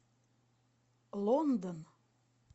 лондон